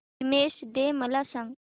women's day मला सांग